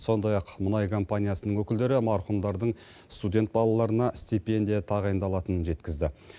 сондай ақ мұнай компаниясының өкілдері марқұмдардың студент балаларына стипендия тағайындалатынын жеткізді